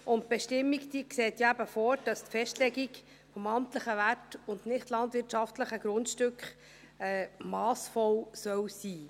Die Bestimmung sieht vor, dass die Festlegung des amtlichen Werts und der nichtlandwirtschaftlichen Grundstücke massvoll sein soll.